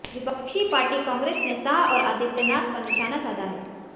विपक्षी पार्टी कांग्रेस ने शाह और आदित्यनाथ पर निशाना साधा है